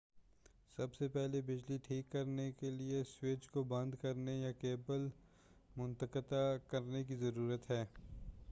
سب سے پہلے بجلی ٹھیک کرنے کے لئے سوئچ کو بند کرنے یا کیبل منقطع کرنے کی ضرورت ہے